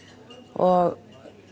og